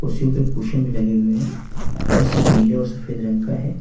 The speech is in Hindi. कुर्सियों पे कुशन भी लगे हुए हैं फर्श नीले और सफेद रंग का है।